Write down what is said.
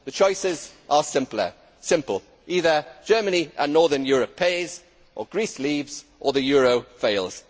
The choices are simple either Germany and Northern Europe pays, or Greece leaves, or the euro fails.